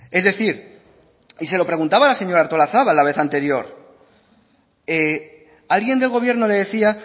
es decir y se lo preguntaba a la señora artolazabal la vez anterior alguien del gobierno le decía